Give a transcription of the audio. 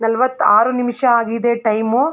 ನಲವತ್ತ ಆರು ನಿಮಿಷ ಆಗಿದೆ ಟೈಮ್ .